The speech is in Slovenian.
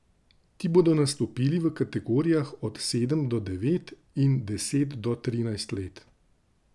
Ti bodo nastopili v kategorijah od sedem do devet in deset do trinajst let.